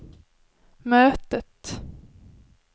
mötet